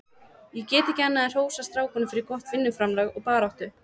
Ég get ekki annað en hrósað strákunum fyrir gott vinnuframlag og baráttu.